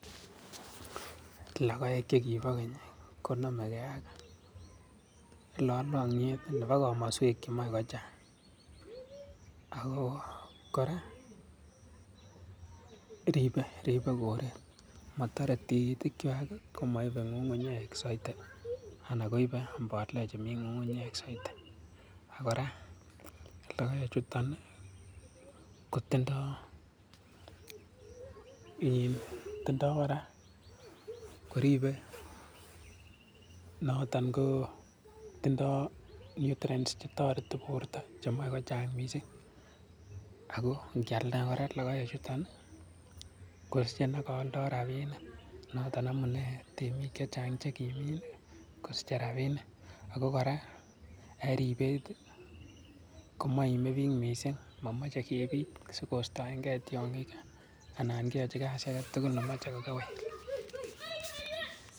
Logoek chekibo keny konamekei ak lalangiet nebo komaswek chemae kochang ako kora ripei koret matarei tigikwai komaipei ngungunyek soiti anan koipe mboleek chemi ngunguyek soiti, kora logoechuto kotindoi kora koripei notok ko tindoi nutrients che toreti borto chemae kochang mising ako ngialda kora logoechuto kosichei neko aldai rapinik noton amune temiik chechang chekimin kosichei rapinik ako kora eng ripet komaimi biich mising, mamachei kepit sikoistoenke tiongik anan keyochi kasii age tugul nemochei kokewel.